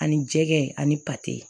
Ani jɛgɛ ani pate